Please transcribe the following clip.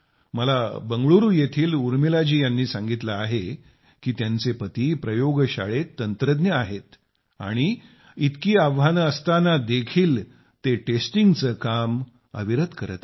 मला बंगळुरू येथील उर्मिला जी यांनी सांगितले आहे की त्यांचे पती प्रयोगशाळेतील तंत्रज्ञ आहे आणि इतकी आव्हाने असताना देखील ते टेस्टिंगचे काम अविरत करत आहेत